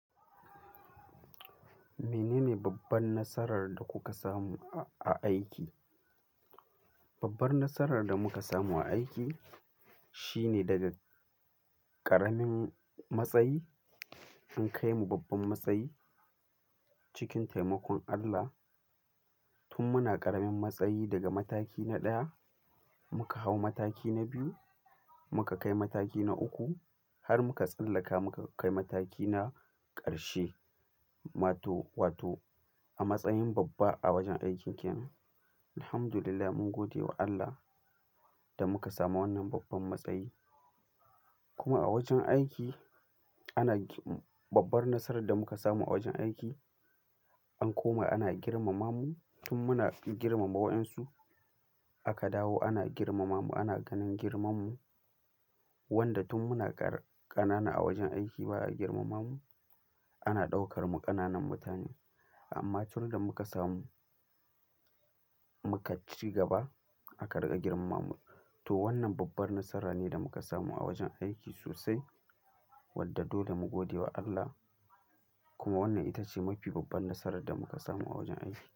Menene babban nasarar da kuka samu a aiki? Babbar nasarar da muka samu a aiki shine daga ƙaramin matsayi an kai mu babban matsayi cikin taimakon Allah. Tun muna ƙaramin matsayi daga mataki na ɗaya muka hau mataki na biyu, muka kai mataki na uku har muka tsallaka muka kai mataki na ƙarshe. Ma to wato a matsayin babba a wajen aikin kenan. Alhamdulillah mun gode wa Allah da muka samu wannan babban matsayi. Kuma a wajen aiki ana g-- babbar nasarar da muka samu a wajen aiki an koma ana girmama mu. Tun muna girmama wa'insu aka dawo ana girmamamu, ana ganin girmamu wanda tun muna ƙar-ƙanana a wajen aiki ba a girmama mu. Ana ɗaukar mu ƙananan mutane. Amma tun da muka samu-- muka ci gaba aka riƙa girmamamu. To wannan babbar nasara ne da muka samu a wajen aiki sosai wadda dole mu gode wa Allah. Kuma wannan ita ce mafi babbar nasarar da muka samu a wajen aiki.